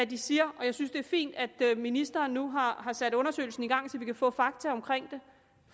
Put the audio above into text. de siger og jeg synes det er fint at ministeren nu har sat undersøgelsen i gang så vi kan få fakta frem